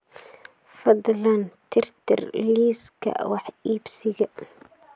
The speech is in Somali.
fadlan tirtir liiska wax iibsiga